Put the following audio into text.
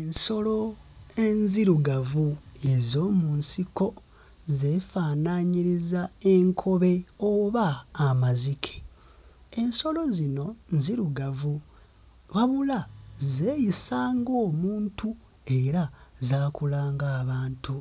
Ensolo enzirugavu ez'omu nsiko zeefaanaanyiriza enkobe oba amazike. Ensolo zino nzirugavu wabula zeeyisa ng'omuntu era zaakula ng'abantu.